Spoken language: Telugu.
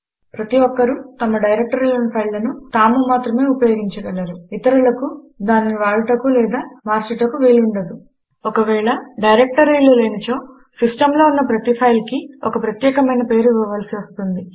ప్రతి ఒక్కరు తమ డైరెక్టరీలోని ఫైల్లను తాము మాత్రమే ఉపయోగించ గలరు ఇతరులకు దానిని వాడుటకు లేదా మార్పుటకు వీలు ఉండదు ఒకవేళ డైరెక్టరీలు లేనిచో సిస్టంలో ఉన్న ప్రతి ఫైల్ కీ ఒక ప్రత్యేకమైన పేరు ఇవ్వవలసి వస్తుంది